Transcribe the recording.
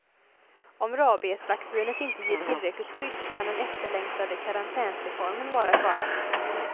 Om rabiesvaccinet inte ger tillräckligt skydd kan den efterlängtade karantänsreformen vara i fara.